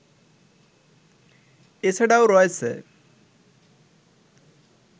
এছাড়াও রয়েছে